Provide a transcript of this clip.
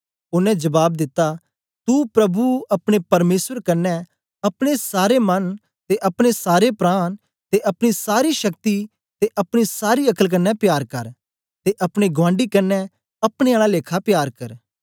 ओनें जबाब दिता तू प्रभु अपने परमेसर कन्ने अपने सारे मन ते अपने सारे प्राण ते अपनी सारी शक्ति ते अपनी सारी अक्ल कन्ने प्यार कर ते अपने गुआंडी कन्ने अपने आला लेखा प्यार कर